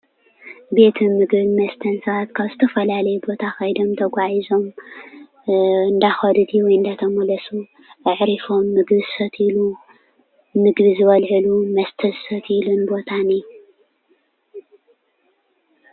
ቤት ምግብን መስተን ሰባት ካብ ዝተፈላለየ ቦታ ከይዶም ተጓዒዞም እናኸዱ ድዩ? እናተመለሱ? ኣዕሪፎም ምግቢ ምግቢ ዝበልዕሉ መስተ ዝሰትይሉን ቦታን እዩ፡፡